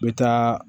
N bɛ taa